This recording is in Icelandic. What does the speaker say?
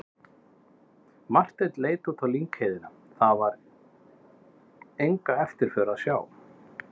Marteinn leit út á lyngheiðina, þar var enga eftirför að sjá.